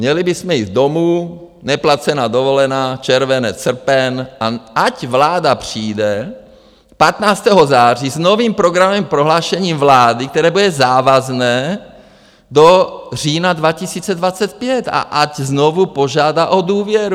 Měli bychom jít domů, neplacená dovolená červenec, srpen, a ať vláda přijde 15. září s novým programovým prohlášením vlády, které bude závazné do října 2025, a ať znovu požádá o důvěru.